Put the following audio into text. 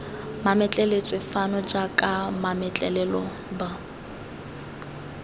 mametleletswe fano jaaka mametlelelo b